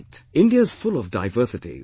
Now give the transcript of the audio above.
" India is full of diversities